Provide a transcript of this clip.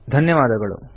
ಧನ್ಯವಾದಗಳು